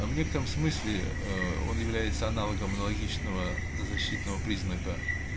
а в некотором смысле ээ он является аналогом аналогичного защитного признака